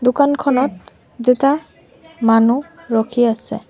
দোকানখনত দুটা মানুহ ৰখি আছে।